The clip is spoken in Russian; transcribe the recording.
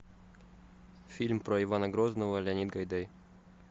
фильм про ивана грозного леонид гайдай